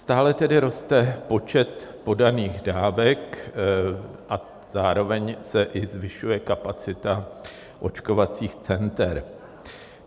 Stále tedy roste počet podaných dávek a zároveň se i zvyšuje kapacita očkovacích center.